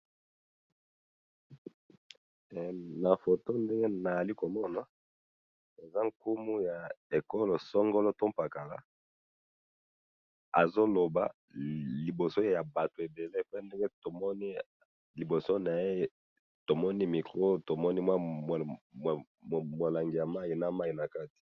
Oyo mokonzi ya ekolo songolo aza kolobela batu mingi, to moni liboso na ye molangi ya mai na micro.